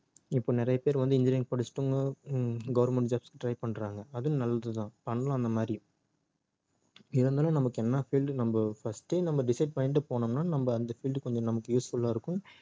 இப்ப நிறைய பேர் வந்து engineering படிச்சிட்டு ஹம் government jobs க்கு try பண்றாங்க அதுவும் நல்லது தான் பண்ணலாம் அந்த மாதிரி என்ன இருந்தாலும் நமக்கு என்ன field நம்ம first ஏ நம்ம decide பண்ணிட்டு போனோம்னா நம்ம அந்த field கொஞ்சம் நமக்கு usefull ஆ இருக்கும்